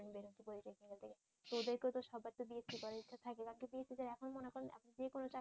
তো ওদেরকেও তো সবার তো বিএসসি করার ইচ্ছা থাকে বিএসসিদের এখন মনে করেন